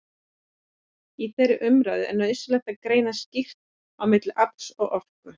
Í þeirri umræðu er nauðsynlegt að greina skýrt á milli afls og orku.